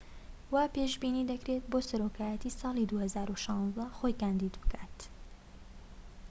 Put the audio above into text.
وا پێشبینی دەکرێت بۆ سەرۆکایەتی ساڵی ٢٠١٦ خۆی کاندید بکات